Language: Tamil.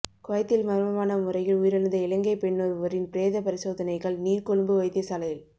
குவைத்தில் மர்மமான முறையில் உயிரிழந்த இலங்கை பெண்ணொருவரின் பிரேத பரிசோதனைகள் நீர்கொழும்பு வைத்தியசாலையில்